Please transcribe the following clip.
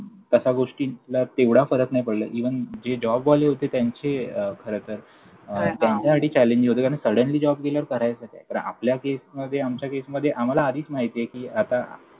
तसा गोष्टीतला तेवढा फरक नाही पडला. Even जे जॉबवाले होते, त्यांचे खरं तर अं हां हां! त्यांच्यासाठी खरं तर challenging होतं. कारण suddenly job गेल्यावर करायचं काय? तर आपल्या केसमध्ये आमच्या केसमध्ये आम्हाला आधीच माहितीये कि आता